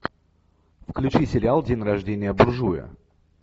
включи сериал день рождения буржуя